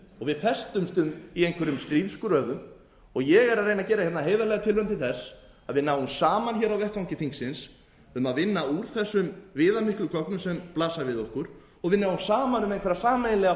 við festumst í einhverjum stríðsgröfum ég er að reyna að gera hérna heiðarlega tilraun til þess að við náum saman hér á vettvangi þingsins um að vinna úr þessum viðamiklu gögnum sem blasa við okkur og við náum saman um einhverja sameiginlega